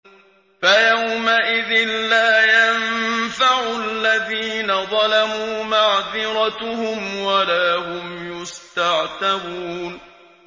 فَيَوْمَئِذٍ لَّا يَنفَعُ الَّذِينَ ظَلَمُوا مَعْذِرَتُهُمْ وَلَا هُمْ يُسْتَعْتَبُونَ